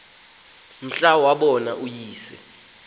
mhla wabona uyise